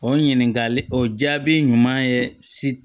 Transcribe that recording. O ɲininkali o jaabi ɲuman ye si